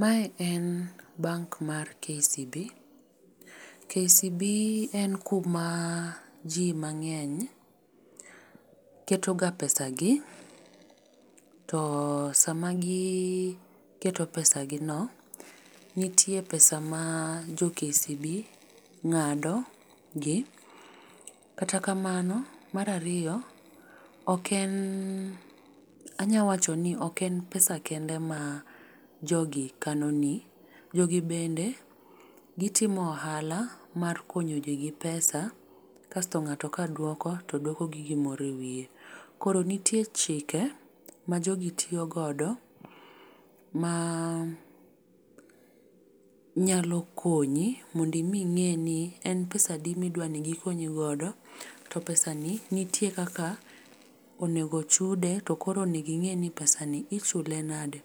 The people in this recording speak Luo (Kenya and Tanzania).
Mae en bank mar KCB. KBC en kuma ji mang'eny ketoga pesagi to sama giketo pesagino, nitie pesa ma jo KCB ng'ado gi, kata kamano mar ariyo ok en anyalo wacho ni ok en pesa kende ma jogi kanoni, jogi bende gitimo ohala mar konyo ji gi pesa kasto ng'ato kaduoko to duoko gi gimoro ewiye. Koro nitie chike majogi tiyo godo ma nyalo konyi mondo mi ing'e ni en pesadi midwa ni gikonyi godo to pesani nitie kaka onego chude to koro onego ing'e ni to pesani ichule nade.